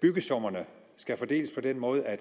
byggesummerne skal fordeles på den måde at